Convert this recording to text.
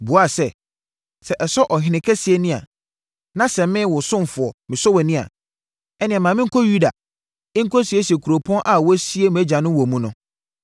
buaa sɛ, “Sɛ ɛsɔ Ɔhene Kɛseɛ ani, na sɛ me, wo ɔsomfoɔ, mesɔ wʼani a, ɛnneɛ ma menkɔ Yuda nkɔsiesie kuropɔn a wɔasie mʼagyanom wɔ mu no.”